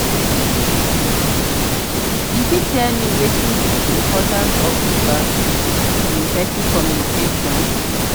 you fit tell me wetin be be di importance of feedback in effective communication?